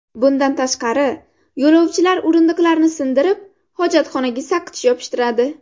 Bundan tashqari, yo‘lovchilar o‘rindiqlarni sindirib, hojatxonaga saqich yopishtiradi.